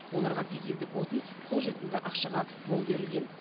оларға дизельдік отын қолжетімді ақшаға мол берілген